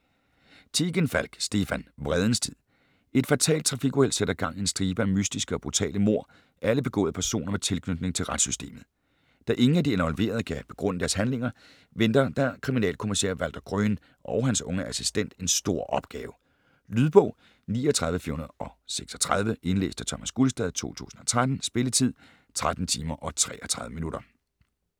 Tegenfalk, Stefan: Vredens tid Et fatalt trafikuheld sætter gang i en stribe af mystiske og brutale mord, alle begået af personer med tilknytning til retssystemet. Da ingen af de involverede kan begrunde deres handlinger, venter der kriminalkommissær Walter Gröhn og hans unge assistent en stor opgave. Lydbog 39436 Indlæst af Thomas Gulstad, 2013. Spilletid: 13 timer, 33 minutter.